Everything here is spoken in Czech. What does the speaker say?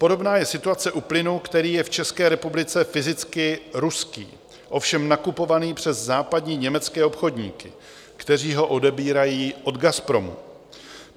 Podobná je situace u plynu, který je v České republice fyzicky ruský, ovšem nakupovaný přes západní německé obchodníky, kteří ho odebírají od Gazpromu.